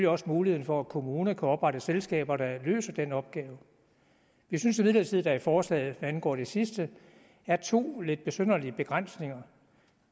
også muligheden for at kommuner kan oprette selskaber der løser den opgave jeg synes imidlertid at der i forslaget hvad angår det sidste er to lidt besynderlige begrænsninger